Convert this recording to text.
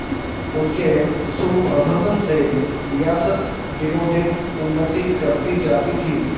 उनके सुप्रबंध से रियासत दिनोंदिन उन्नति करती जाती थी